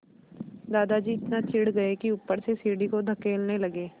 दादाजी इतना चिढ़ गए कि ऊपर से सीढ़ी को धकेलने लगे